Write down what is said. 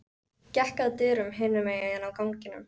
Gekk að dyrum hinum megin á ganginum.